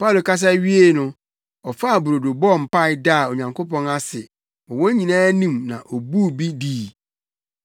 Paulo kasa wiei no, ɔfaa brodo bɔɔ mpae daa Onyankopɔn ase wɔ wɔn nyinaa anim na obuu bi dii.